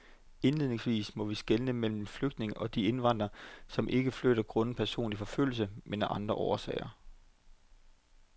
Indledningsvis må vi skelne mellem flygtninge og de indvandrere, som ikke flytter grundet personlig forfølgelse, men af andre årsager.